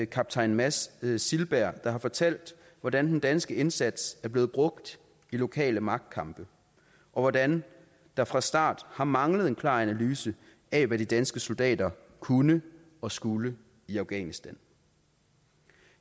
kaptajn mads silberg der har fortalt hvordan den danske indsats er blevet brugt i lokale magtkampe og hvordan der fra start har manglet en klar analyse af hvad de danske soldater kunne og skulle i afghanistan